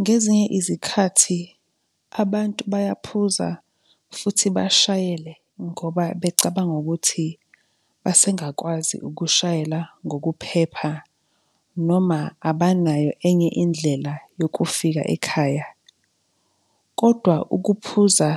Ngezinye izikhathi, abantu bayaphuza futhi bashayele ngoba becabanga ukuthi basengakwazi ukushayela ngokuphepha noma abanayo enye indlela yokufika ekhaya. Kodwa ukuphuza